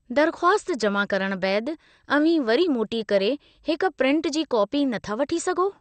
दरख़्वासत जमा करणु बैदि, अव्हीं वरी मोटी करे हिकु प्रिंट जी कॉपी नथा वठी सघो ?